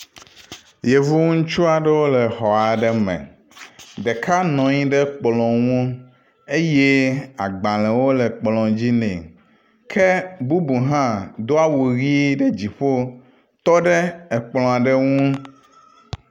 Yevu ŋutsu aɖewo le xɔ aɖe me. Ɖeka nɔ anyi ɖe kplɔ ŋu eye agbale wo le kplɔ dzi nɛ. Ke bubu hã do awu ʋi ɖe dziƒo tɔ ɖe akplɔ aɖe ŋu.